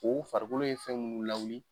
O farikolo ye fɛn munnu lawuli.